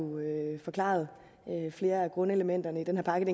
forklaret flere af grundelementer i den her pakke